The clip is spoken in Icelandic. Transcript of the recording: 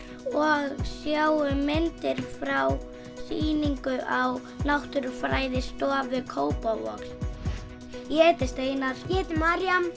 og sjáum myndir frá sýningu á Náttúrufræðistofu Kópavogs ég heiti Steinar ég heiti María